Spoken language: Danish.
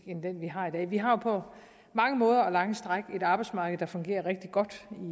end den vi har i dag vi har på mange måder og på lange stræk et arbejdsmarked der fungerer rigtig godt